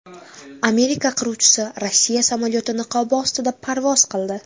Amerika qiruvchisi Rossiya samolyoti niqobi ostida parvoz qildi .